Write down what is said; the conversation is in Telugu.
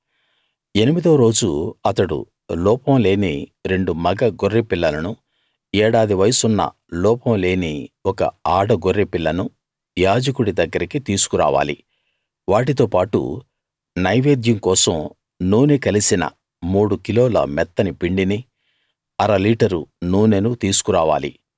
ఎనిమిదో రోజు అతడు లోపం లేని రెండు మగ గొర్రె పిల్లలనూ ఏడాది వయస్సున్న లోపం లేని ఒక ఆడ గొర్రె పిల్లనూ యాజకుడి దగ్గరికి తీసుకురావాలి వాటితో పాటు నైవేద్యం కోసం నూనె కలిసిన మూడు కిలోల మెత్తని పిండినీ అర లీటరు నూనెనూ తీసుకు రావాలి